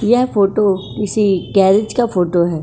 यह फोटो किसी गैरेज का फोटो है।